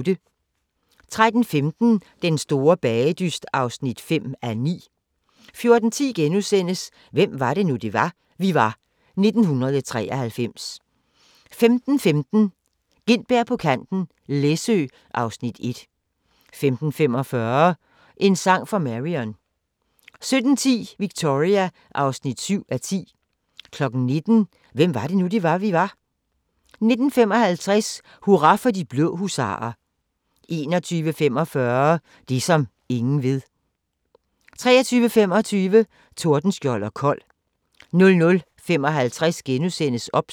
13:15: Den store bagedyst (5:9) 14:10: Hvem var det nu, vi var - 1993 * 15:15: Gintberg på kanten – Læsø (Afs. 1) 15:45: En sang for Marion 17:10: Victoria (7:10) 19:00: Hvem var det nu, vi var? 19:55: Hurra for de blå husarer 21:45: Det som ingen ved 23:25: Tordenskjold & Kold 00:55: OBS *